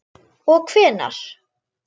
Og hvenær?